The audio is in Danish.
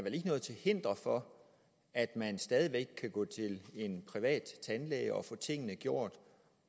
noget til hinder for at man stadig væk kan gå til en privat tandlæge og få tingene gjort